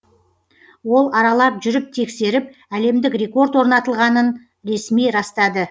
ол аралап жүріп тексеріп әлемдік рекорд орнатылғанын ресми растады